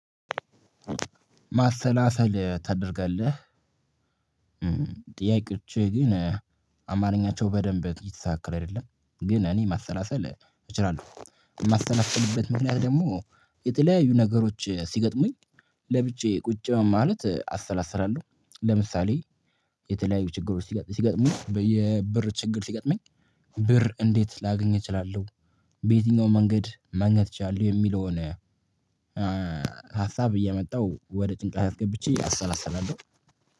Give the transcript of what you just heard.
ማሰላሰል ታደርጋለህ? ጥያቄዎች ግን አማርኛቸው በደንብ የተስተካከል አይደለም ግን እኔ ማሰላሰል እችላለሁ የማሰላስትልበት ምክንያት ደግሞ የተለያዩ ነገሮች ስገትሙኝ ለብቻዬ ቁጭ በማለት አሰላስራለሁ። ለምሳሌ የተለያዩ ችግሮች ሲገጥሙ የብር ችግር ሲገጥመኝ ብር እንዴት ላገኝ እችላለሁ? በየትኛው መንገድ መግኘት እችላለሁ የሚለውን ሀሳብ እየመጣው ወደ ጭንቀለት አስገብቼ አሰላሰላለሁ